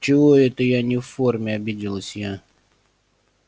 чего это я не в форме обиделась я